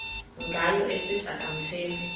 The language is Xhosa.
ngayo esithi akamthembi